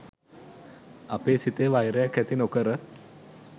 අපේ සිතේ වෛරයක් ඇති නොකර